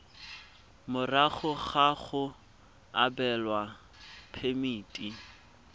morago ga go abelwa phemiti